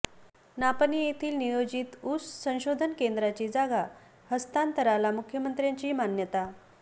नापणे येथील नियोजित ऊस संशोधन केंद्राची जागा हस्तांतराला मुख्यमंत्र्याची मान्यता